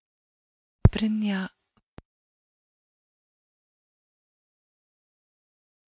Brynja Þorgeirsdóttir: Hvort er þetta meira fyrirtæki eða list?